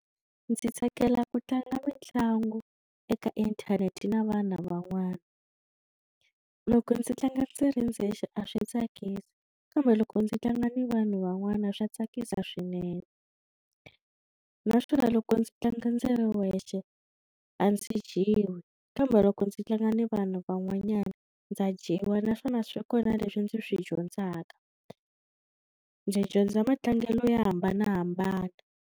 Ndzi tsakela ku tlanga mitlangu eka inthanete na vana van'wana loko ndzi tlanga ndzi ri ndzexe a swi tsakisi kambe loko ndzi tlanga na vanhu van'wana swa tsakisa swinene naswona loko ndzi tlanga ndzi ri wexe a ndzi dyiwi kambe loko ndzi tlanga na vanhu van'wanyana ndza dyiwa naswona swa kona leswi ndzi swi dyondzaka ndzi dyondza matlangelo yo hambanahambana.